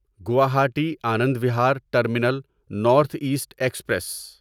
Guwahati Anand Vihar terminal north east express